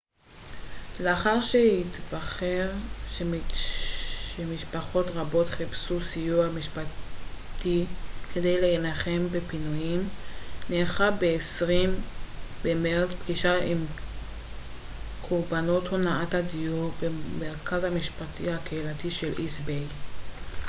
לאחר שהתחוור שמשפחות רבות חיפשו סיוע משפטי כדי להילחם בפינויים נערכה ב-20 במרץ פגישה עם קרבנות הונאת הדיור במרכז המשפטים הקהילתי של איסט ביי